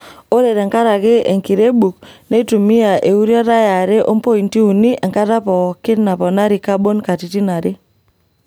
Ore tenkaraki enkirebuk neitumia euriata e are ompointi uni enkata pookin naponari kabon katitin are.